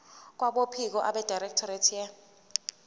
kwabophiko abedirectorate ye